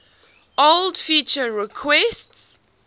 old feature requests